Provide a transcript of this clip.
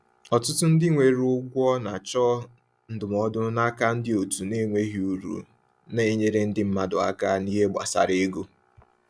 Ọtụtụ ndị nwere ụgwọ na-achọ ndụmọdụ n’aka òtù na-enweghị uru na-enyere ndị mmadụ aka n’ihe gbasara ego.